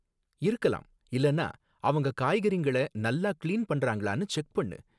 இருக்கலாம், இல்லனா அவங்க காய்கறிங்கள நல்லா கிளீன் பண்றாங்களான்னு செக் பண்ணு